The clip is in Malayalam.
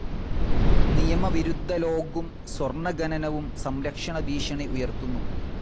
നിയമവിരുദ്ധ ലോഗ്ഗും, സ്വർണ ഖനനവും സംരക്ഷണ ഭീഷണി ഉയർത്തുന്നു.